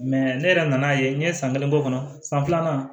ne yɛrɛ nan'a ye n ye san kelen bɔ o kɔnɔ san filanan